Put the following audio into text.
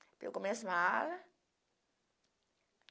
Pegou minhas malas.